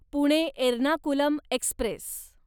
Pune Ernakulam Express